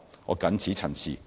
我謹此陳辭。